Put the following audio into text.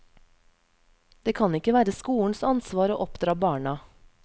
Det kan ikke være skolens ansvar å oppdra barna.